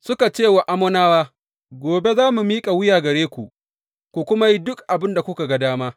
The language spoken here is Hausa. Suka ce wa Ammonawa, Gobe za mu miƙa wuya gare ku, ku kuma yi duk abin da kuka ga dama.